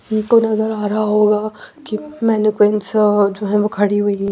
उनको नजर आ रहा होगा कि मेनक्विंस जो है वो खड़ी हुई है।